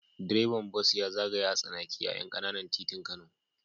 Direban bas ya zagaya a tsanake a ƴan ƙananan titin Kano.